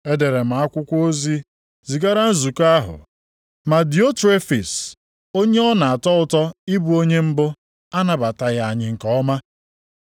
Edere m akwụkwọ ozi zigara nzukọ ahụ, ma Diotrefis onye ọ na-atọ ụtọ ịbụ onye mbụ, anabataghị anyị nke ọma.